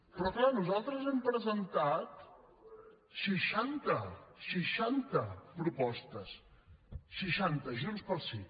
però clar nosaltres hem presentat seixanta seixanta propostes seixanta junts pel sí